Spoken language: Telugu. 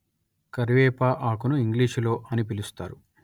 కరివేపా ఆకును ఇంగ్లీషులో అని పిలుస్తారు